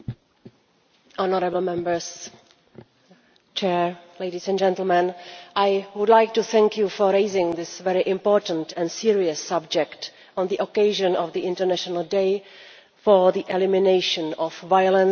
Mr President, I would like to thank you for raising this very important and serious subject on the occasion of the International Day for the Elimination of Violence against Women.